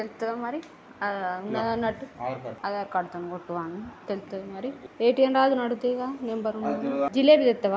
మరి ఆ ఉన్నదన్నట్టు ఆధార్ కార్డ్ తోటి కొట్టుమను తెలుస్తది మరి ఏ_టీ_ఎం రాదు అని అడుగుతి వి గా కదా నంబర్ ఉందని జిలేబి తేస్తవ --